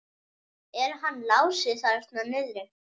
Er hann Lási þarna niðri?